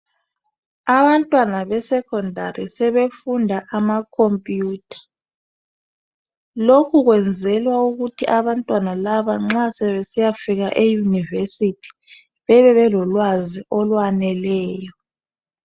Abantwana be secondary sebefunda amacomputer .Lokhu kwenzelwa ukuthi abantwana laba nxa sebesiya fika e university bebe belolwazi olwaneleyo .